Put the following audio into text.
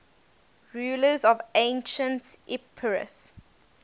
rulers of ancient epirus